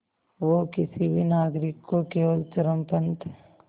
वो किसी भी नागरिक को केवल चरमपंथ